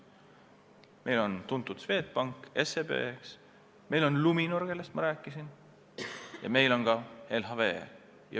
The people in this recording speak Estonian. Meil on tuntud Swedbank, on SEB, on Luminor, kellest ma rääkisin, ja on ka LHV.